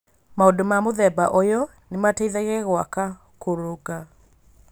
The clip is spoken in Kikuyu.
Maũndũ ma mũthemba ũyũ nĩ mateithagia gwaka kũrũnga.